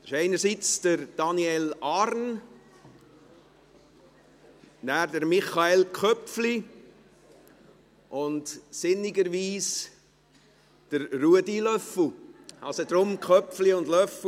Es ist dies zum einen Daniel Arn, dann zum anderen Michael Köpfli und sinnigerweise auch Ruedi Löffel – deshalb: Köpfli und Löffel;